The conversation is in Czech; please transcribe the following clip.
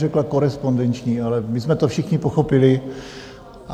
Řekla korespondenční, ale my jsme to všichni pochopili.